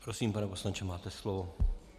Prosím, pane poslanče, máte slovo.